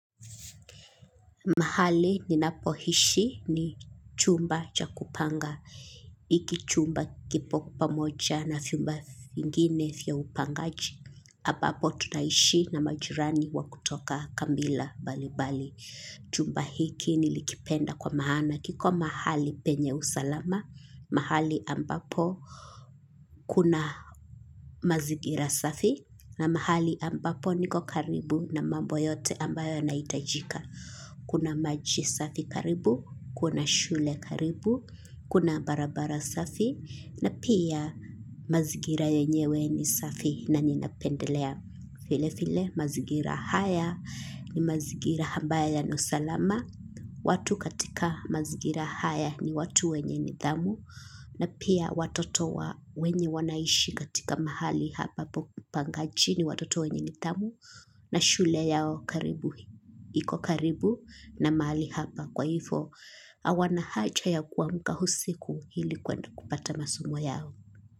Mahali ni napohishi ni chumba cha kupanga. Iki chumba kipo pamoja na fiumba vingine fya upangaji. Hapapo tunaishi na majirani wa kutoka kambila bali bali. Chumba hiki nilikipenda kwa mahana. Kiko mahali penye usalama. Mahali ambapo kuna mazigira safi. Na mahali ambapo niko karibu na mambo yote ambayo yana itajika. Kuna maji safi karibu kuna shule karibu kuna barabara safi na pia mazingira yenyewe ni safi na nina pendelea file file mazigira haya ni mazigira hambaya yana usalama. Watu katika mazigira haya ni watu wenye nithamu, na pia watoto wa wenye wanaishi katika mahali hapa pangaji ni watoto wenye nithamu. Na shule yao karibu hiko karibu na mali hapa kwaifo awana hacha ya kuwamka husiku hili kwenda kupata masomo yao.